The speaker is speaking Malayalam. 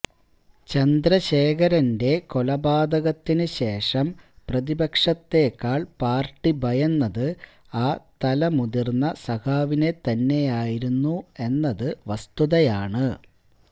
ചന്ദ്രശേഖരന്റെ കൊലപാതകത്തിനുശേഷം പ്രതിപക്ഷത്തേക്കാള് പാര്ട്ടി ഭയന്നത് ആ തലമുതിര്ന്ന സഖാവിനെത്തന്നെയായിരുന്നു എന്നത് വസ്തുതയാണ്